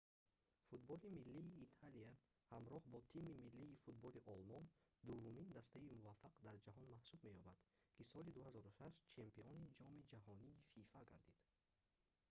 футболи миллии италия ҳамроҳ бо тими миллии футболи олмон дуввумин дастаи муваффақ дар ҷаҳон маҳсуб меёбад ки соли 2006 чемпиони ҷоми ҷаҳонии фифа гардид